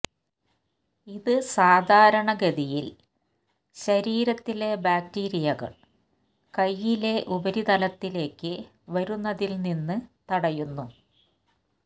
ഇത് സാധാരണഗതിയിൽ ശരീരത്തിലെ ബാക്ടീരിയകൾ കൈയിലെ ഉപരിതലത്തിലേക്ക് വരുന്നതിൽ നിന്ന് തടയുന്നു